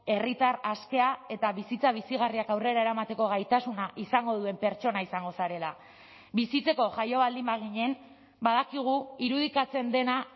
herritar askea eta bizitza bizigarriak aurrera eramateko gaitasuna izango duen pertsona izango zarela bizitzeko jaio baldin baginen badakigu irudikatzen dena